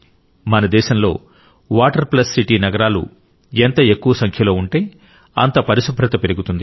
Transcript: మన దేశంలో water plus city నగరాలు ఎంత ఎక్కువ సంఖ్యలో ఉంటే అంత పరిశుభ్రత పెరుగుతుంది